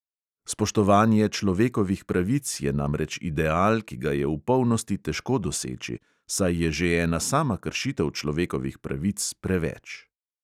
Spoštovanje človekovih pravic je namreč ideal, ki ga je v polnosti težko doseči, saj je že ena sama kršitev človekovih pravic preveč.